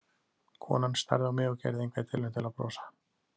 Konan starði á mig og gerði enga tilraun til að brosa.